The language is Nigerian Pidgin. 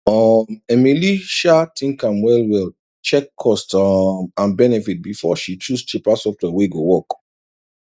um emily um think am well well check cost um and benefit before she choose cheaper software wey go work